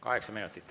Kaheksa minutit.